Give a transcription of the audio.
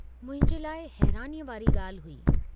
मुंहिंजे लाइ हैरानीअ वारी गाल्हि हुई।